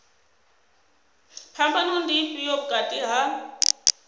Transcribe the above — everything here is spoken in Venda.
phambano ndi ifhio vhukati ha